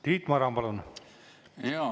Tiit Maran, palun!